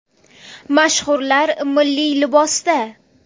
Mashhurlar milliy libosda .